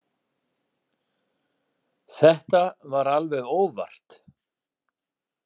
Þetta var alveg óvart.